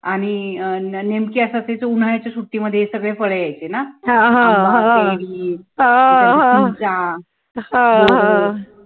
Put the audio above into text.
आणि अं नेमकी असं असायचं कि उन्हाळ्याच्या सुट्टी मध्ये सगळी फळं यायची ना आंबा केळी चिंचा बोरं